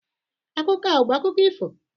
Akụkọ a ọ bụ akụkọ ifo?